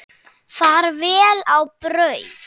Far vel á braut.